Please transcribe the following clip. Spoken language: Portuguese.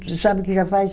Você sabe o que já faz?